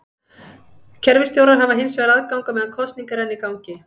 Kerfisstjórar hafa hins vegar aðgang á meðan kosning er enn í gangi.